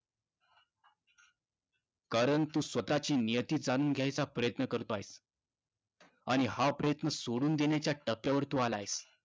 कारण तू स्वतःची नियती जाणून घ्यायचा प्रयत्न करतो आहेस. आणि हा प्रयत्न सोडून देण्याच्या टप्प्यावर तू आला आहेस.